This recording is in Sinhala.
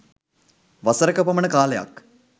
වසරක පමණ කාලයක්